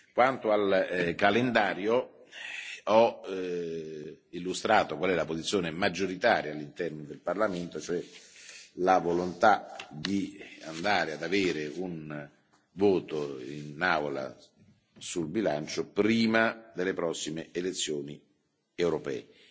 Quanto al calendario, ho illustrato qual è la posizione maggioritaria all'interno del Parlamento, cioè la volontà di avere un voto in Aula sul bilancio prima delle prossime elezioni europee.